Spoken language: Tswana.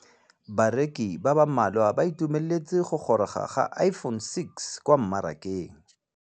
Bareki ba ba malwa ba ituemeletse go gôrôga ga Iphone6 kwa mmarakeng.